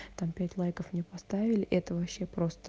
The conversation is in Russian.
там пять лайков мне поставили это вообще просто